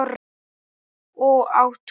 Og á túninu.